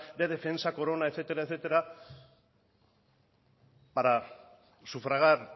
de defensa corona etcétera etcétera para sufragar